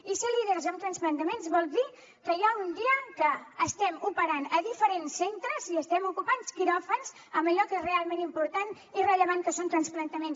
i ser líders en transplantaments vol dir que hi ha un dia que estem operant a diferents centres i estem ocupant quiròfans amb allò que és realment important i rellevant que són transplantaments